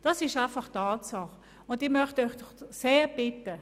Das ist einfach eine Tatsache, und ich möchte Sie doch sehr bitten!